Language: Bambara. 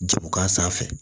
Jago k'a sanfɛ